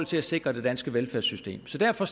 til at sikre det danske velfærdssystem så derfor